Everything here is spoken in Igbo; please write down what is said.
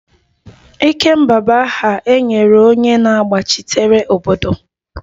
Ikemba bụ aha e nyere onye na-agbachitere obodo